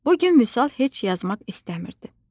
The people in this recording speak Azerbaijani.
Bu gün Vüsal heç yazmaq istəmirdi.